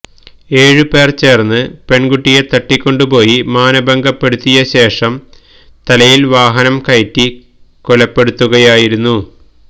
ഏഴ് പേര് ചേര്ന്ന് പെണ്കുട്ടിയെ തട്ടിക്കൊണ്ടുപോയി മാനഭംഗപ്പെടുത്തിയ ശേഷം തലയില് വാഹനം കയറ്റി കൊലപ്പെടുത്തുകയായിരുന്നു